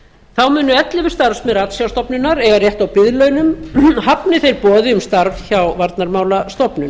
þá munu ellefu starfsmenn ratsjárstofnunar eiga rétt á biðlaunum hafni þeir boði um starf hjá varnarmálastofnun